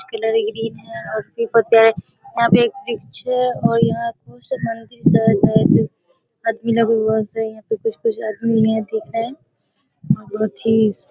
Colour green है और की कहते हैं यहाँ पे एक वृक्ष है और यहाँ बहोत से मंदिर हैं आदमी लोग यहाँ कुछ-कुछ आदमी यहाँ पे दिख रहे है । बहोत ही स --